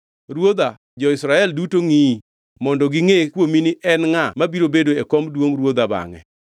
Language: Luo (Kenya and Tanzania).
Ruodha, jo-Israel duto ngʼiyi mondo gingʼe kuomini en ngʼa mabiro bedo e kom duongʼ ruodha bangʼe.